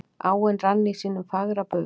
Áin rann í sínum fagra bug.